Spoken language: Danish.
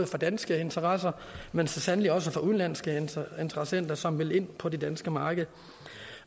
for danske interesser men så sandelig også for udenlandske interessenter som ville ind på det danske marked